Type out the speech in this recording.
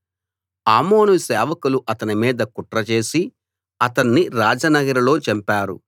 ఆమోను సేవకులు అతని మీద కుట్రచేసి అతన్ని రాజనగరులో చంపారు